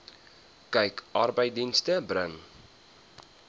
kyk arbeidsdienste bring